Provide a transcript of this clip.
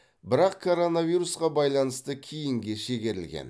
бірақ коронавирусқа байланысты кейінге шегерілген